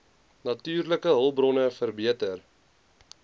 natuurlike hulpbronne verbeter